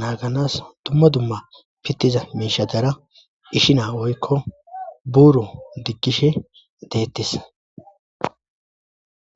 naaganas dumma dumma pittiza miishatara ishina woykko buuro diggishe deettis